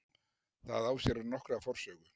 Það á sér nokkra forsögu.